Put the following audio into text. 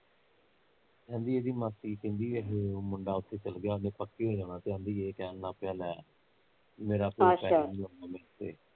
ਕਹਿਣਡੀ ਇਹਦੀ ਮਾਸੀ ਕਹਿਦੀ ਅਖੇ ਮੁੰਡਾ ਉੱਥੇ ਚੱਲ ਗਿਆ ਤੇ ਉਹਨੇ ਪੱਕੇ ਹੋ ਜਣਾ ਕਹਿੰਦੀ ਏਹ ਕਹਿਣ ਲੱਗ ਪਿਆ ਲੈ ਮੇਰਾ ਮੇਰੇ ਤੇ